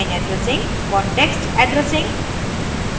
context addressing